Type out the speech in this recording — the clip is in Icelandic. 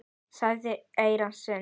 sagðir í eyra syni.